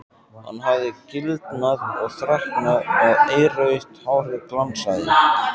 Hann hafði gildnað og þreknað og eirrautt hárið glansaði.